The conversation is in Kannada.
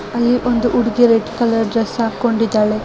ಅಲ್ಲಿ ಒಂದು ಉಡುಗಿ ರೆಡ್ ಕಲರ್ ಡ್ರೆಸ್ ಆಕೊಂಡು ಇದಾಳೆ.